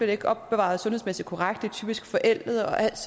det ikke opbevaret sundhedsmæssigt korrekt det er typisk forældet og alt